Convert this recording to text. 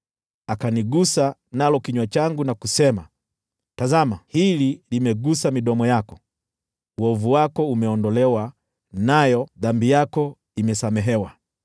Akanigusa nalo kinywa changu na kusema, “Tazama, hili limegusa midomo yako, uovu wako umeondolewa, nayo dhambi yako imesamehewa.”